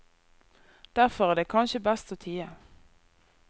Derfor er det kanskje best å tie.